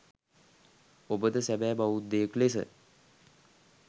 ඔබද සැබෑ බෞද්ධයෙකු ලෙස